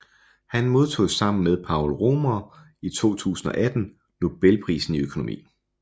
Han modtog sammen med Paul Romer i 2018 Nobelprisen i økonomi